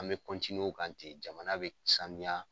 An bɛ o kan ten jamana bɛ sanuya.